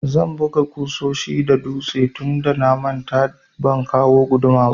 Zan buga ƙusoshi da dutse tunda na manta ban kawo guduma ba.